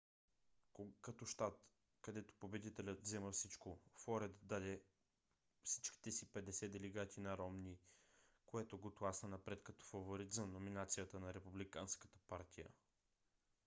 като щат където победителят взима всичко флорида даде всичките си 50 делегати на ромни което го тласна напред като фаворит за номинацията на републиканската партия